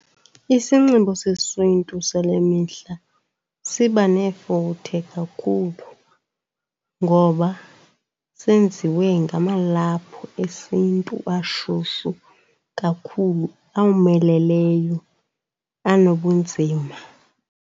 Isinxibo sesiNtu sale mihla siba nefuthe kakhulu ngoba senziwe ngamalaphu esiNtu ashushu kakhulu, awomeleleyo anobunzima.